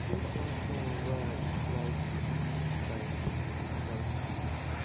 e get one song wey i dey try to see if i go fit write